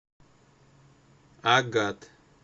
агат